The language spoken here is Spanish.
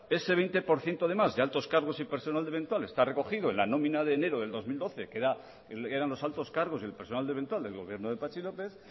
ese veinte por ciento de más de altos cargos y personal eventual está recogido en la nómina de enero de dos mil doce que eran los altos cargos y el personal eventual del gobierno de patxi lópez